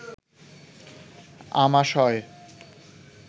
আমাশয়